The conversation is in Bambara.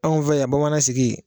Anw fɛ yan bamanan sigi.